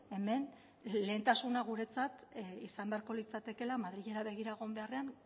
hemen lehentasuna guretzat izan beharko litzatekeela madrilera begira egon beharrean